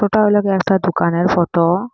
ওটাও লাগে একটা দোকানের ফটো ।